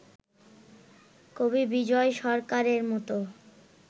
কবি বিজয় সরকারের মতো